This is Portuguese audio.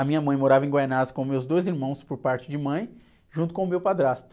A minha mãe morava em Guaianazes com meus dois irmãos por parte de mãe, junto com o meu padrasto.